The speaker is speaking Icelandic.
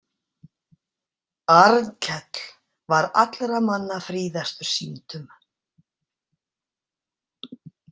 Arnkell var allra manna fríðastur sýndum.